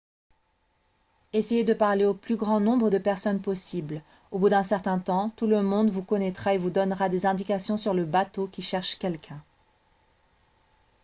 essayez de parler au plus grand nombre de personnes possible au bout d'un certain temps tout le monde vous connaîtra et vous donnera des indications sur le bateau qui cherche quelqu'un